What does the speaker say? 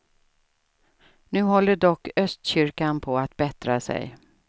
Nu håller dock östkyrkan på att bättra sig.